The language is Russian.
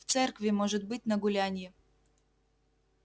в церкви может быть на гулянье